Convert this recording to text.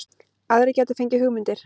Aðrir gætu fengið hugmyndir